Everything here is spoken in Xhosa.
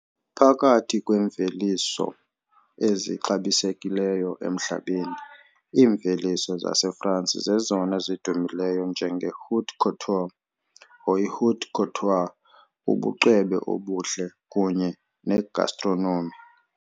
Phakathi kweemveliso ezixabisekileyo emhlabeni, iimveliso zaseFrance zezona zidumileyo njenge-haute couture, haute couture, ubucwebe obuhle kunye ne-gastronomy.